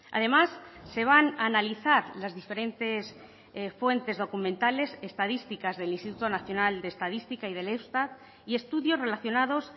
además se van a analizar las diferentes fuentes documentales estadísticas del instituto nacional de estadística y del eustat y estudios relacionados